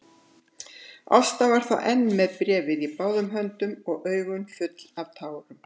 Ásta var þá enn með bréfið í báðum höndum og augun full af tárum.